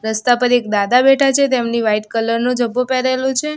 રસ્તા પર એક દાદા બેઠા છે તેમની વાઈટ કલર નો જબ્બો પહેરેલું છે.